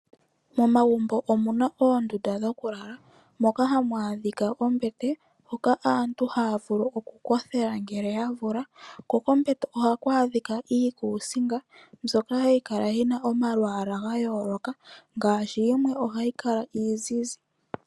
Momagumbo omuna oondunda dhokulala moka hamu adhika oombete hoka aantu haya vulu okukothela ngele yavulwa kokombete ohaku adhika iikusinga mbyoka hayi kala yina omalwaala ga yooloka ngaashi yimwe ohayi kala iizizi.